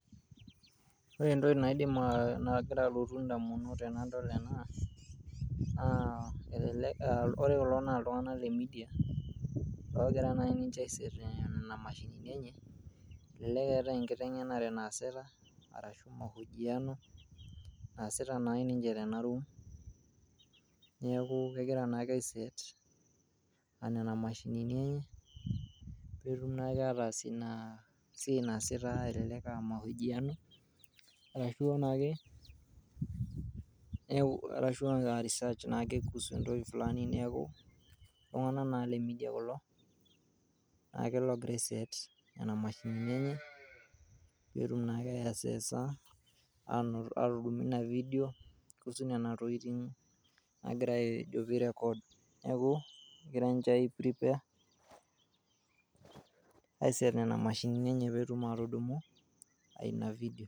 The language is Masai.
Ore entoki nigira alotu in'damunot tenadol ena, naa ore kulo naa iltung'anak le CS[media]CS ogira naa ninche ai CS[set]CS nena mashinini enye elelek eeta enkiteng'enare naasita arashu CS[mahojiano]CS naasita naa ninche tena CS[room]CS neeku kegira naa ake ai CS[set]CS nena mashinini enye peetum naake ataas ina siai naasita elelek aa CS[Mahojiano]CS arashu naake aa CS[research]CS kuhusu entoki flani neeku iltung'anak naa le CS[Media]CS kulo netii logira ai CS[set]CS nena mashinini enye peetum naake ai CS[assess]CS atudumu ina CS CS kuhusu nena tokiting' nagira ajo pee i CS[record]CS neeku egira ninche ai CS[prepare settings]CS mashinini enye peetum atudumu ina CS CS.